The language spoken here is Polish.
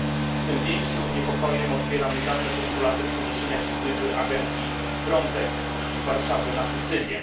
Z tym większym niepokojem odbieram niedawne postulaty przeniesienia siedziby agencji FRONTEX z Warszawy na Sycylię.